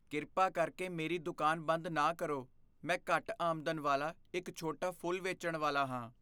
ਕਿਰਪਾ ਕਰਕੇ ਮੇਰੀ ਦੁਕਾਨ ਬੰਦ ਨਾ ਕਰੋ। ਮੈਂ ਘੱਟ ਆਮਦਨ ਵਾਲਾ ਇੱਕ ਛੋਟਾ ਫੁੱਲ ਵੇਚਣ ਵਾਲਾ ਹਾਂ।